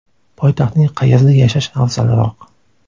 Poytaxtning qayerida yashash afzalroq?